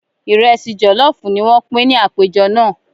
Ìrẹsì jọlọfu ní wọn pin ní àpéjọ náà.